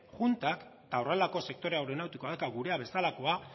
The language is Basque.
juntan eta horrelako sektore aeronautikoa eta gurea bezalakoa